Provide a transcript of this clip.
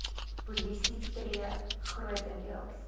polisie tree grotendeels